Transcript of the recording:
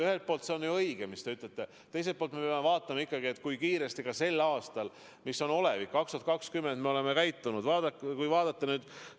Ühelt poolt see on ju õige, teiselt poolt me peame vaatama ikkagi, kui kiiresti me sel aastal, mis on olevik, aasta 2020, oleme tegutsenud.